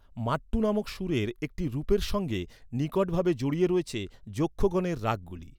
মাট্টু নামক সুরের একটি রুপের সঙ্গে নিকট ভাবে জড়িয়ে রয়েছে যক্ষগনের রাগগুলি।